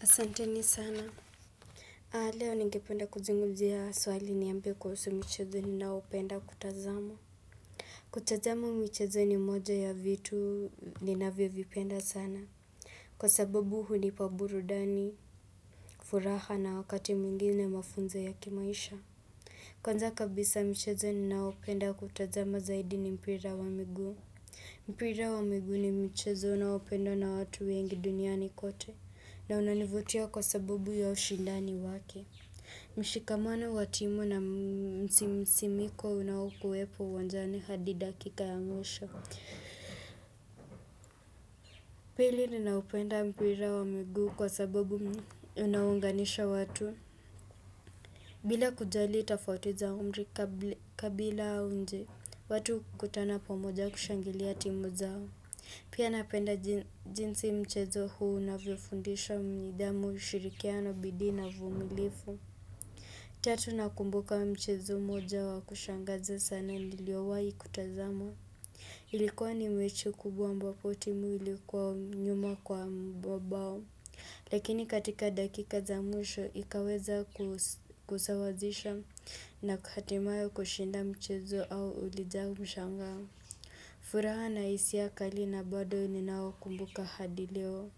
Asanteni sana. Leo ningependa kuzungumzia swali niambie kuhusu michezo ni naopenda kutazama. Kutazama michezo ni moja ya vitu ninavyo vipenda sana. Kwa sababu hunipa burudani, furaha na wakati mwingine mafunzo ya kimaisha. Kwanza kabisa michezo ni naopenda kutazama zaidi ni mpira wa miguu. Mpira wa miguu ni mchezo naopendwa na watu wengi duniani kote. Na unanivutia kwa sabubu ya ushindani wake mshikamano wa timu na msimiko unawukuwepo uwanjani hadi dakika ya mwisho Pili ninaupenda mpira wa mugu kwa sabubu unaunganisha watu bila kujali itafoti za umri, kabila au nchi watu ukutana pamoja kushangilia timu zao Pia napenda jinsi mchezo huu na vyofundisha nidhamu shirikiano bidii na uvumilifu Tatu nakumbuka mchezo moja wa kushangazi sana niliowahi kutazama Ilikuwa ni mechi kubwa mbapotimu ilikuwa nyuma kwa mabao Lakini katika dakika za mwisho, ikaweza kuzawazisha na kuhatimayo kushinda mchezo au ulijaa mshangao furaha na hisia kali hadi leo.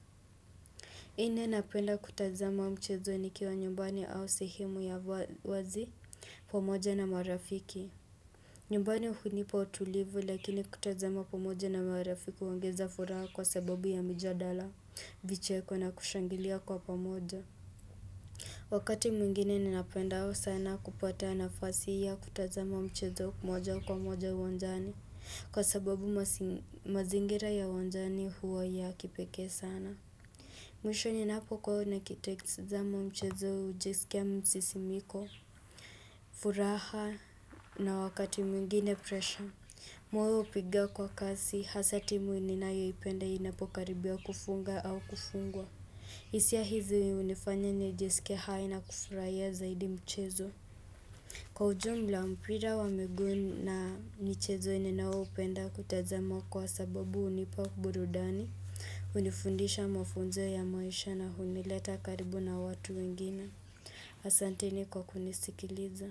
Ine napenda kutazama mchezo nikiwa nyumbani au sehemu ya wazi pamoja na marafiki. Nyumbani hunipa utulivu lakini kutazama pamoja na marafiki uongeza furaha kwa sababu ya mjadala vicheko na kushangilia kwa pamoja. Wakati mwingine ninapenda au sana kupata nafasi ya kutazama mchezo kumoja kwa moja wanjani kwa sababu mazingira ya uwanjani huwa ya kipekee sana. Mwisho ninapoona na kitekizamo mchezo ujesikia msisimiko, furaha na wakati mwingine pressure. Moyo upiga kwa kasi, hasa timu ninayoipenda inapokaribia kufunga au kufungwa. Hisia hizi unifanya nijesike hai na kufurahia zaidi mchezo. Kwa ujumla mpira wa miguu na michezo enye nao upenda kutazamo kwa sababu unipa burudani. Hunifundisha mafunzo ya maisha na hunileta karibu na watu wengine. Asanteni kwa kunisikiliza.